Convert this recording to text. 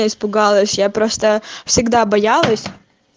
я испугалась я просто всегда боялась